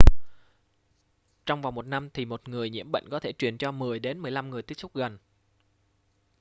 trong vòng một năm thì một người nhiễm bệnh có thể truyền cho 10 đến 15 người tiếp xúc gần